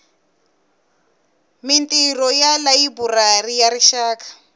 mintirho ya layiburari ya rixaka